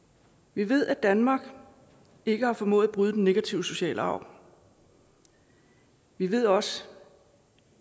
vi ved at danmark ikke har formået at bryde den negative sociale arv vi ved også